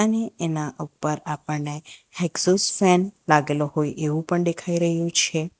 એના ઉપર આપણને એક્ઝોસ્ટ ફેન લાગેલો હોય એવું પણ દેખાઈ રહ્યું છે.